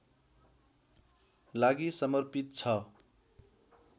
लागि समर्पित छ